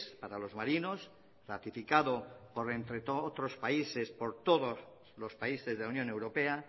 para los marinos ratificado entre otros países por todos los países de la unión europea